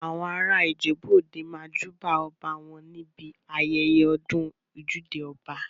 Àwọn ará ìjèbú òde máa júbà ọba wọn ní ibi ayẹyẹ ọdún ojúde ọba.